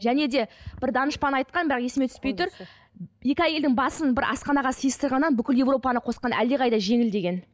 және де бір данышпан айтқан бірақ есіме түспей тұр екі әйелдің басын бір асханаға сиыстырғаннан бүкіл европаны қосқан әлдеқайда жеңіл деген